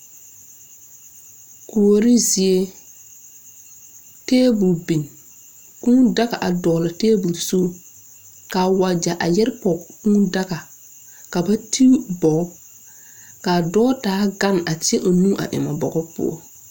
Kuori zie tabol bin kūū daga a dɔɔle tabol zu kaa wagyɛ a yɛre pɔg kūū daga ka ba tu bog kaa dɔɔ taa gan a ti o nu eŋ a bogo poɔ.